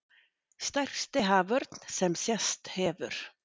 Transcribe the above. Stærsti haförn sem sést hefur